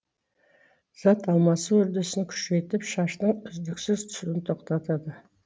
зат алмасу үрдісін күшейтіп шаштың үздіксіз түсуін тоқтатады